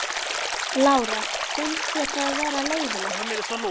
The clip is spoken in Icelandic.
Lára: Finnst þér það vera eðlilegt?